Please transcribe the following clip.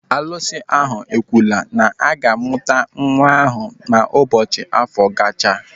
Arụsị ahụ ekwuola na aga-amụ nwa ahụ ma ụbọchị afọ gachaa.